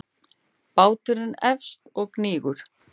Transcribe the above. Báturinn hefst og hnígur.